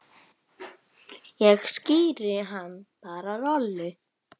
Ég skíri hann bara Rolu.